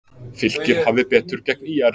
Fylkir hafði betur gegn ÍR